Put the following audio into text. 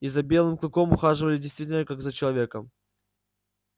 и за белым клыком ухаживали действительно как за человеком